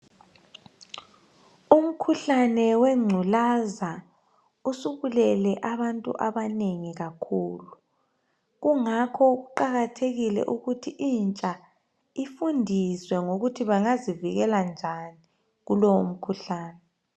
Umkhuhlane wengculaza usubulele abantu abanengi kakhulu. Kungakho kuqakathekile ukuthi intsha ifundiswe ukuthi ingazivikela njani kulowo mkhuhlane.